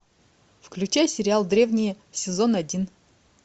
включай сериал древние сезон один